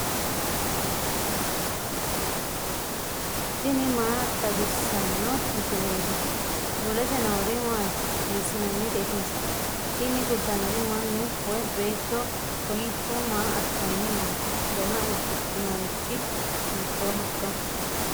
tini maa xawissanno misileeti ? mulese noori maati ? hiissinannite ise ? tini kultannori mannu woy beetto kowiicho maa assitanni nooikka dana udidhinorichi hiitoohoikka